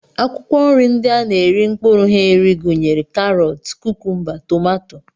Akwụkwọ nri ndị a na-eri mkpụrụ ha eri gụnyere karọt, kukumba, tomato